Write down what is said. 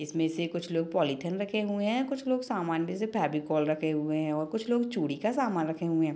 इसमें से कुछ लोग पॉलिथीन रखे हुए हैं कुछ लोग फेविकोल रखे हुए हैं और कुछ लोग चूड़ी का सामान रखे हुए हैं।